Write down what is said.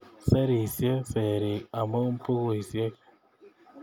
Serisiei serik, amu bukuisiek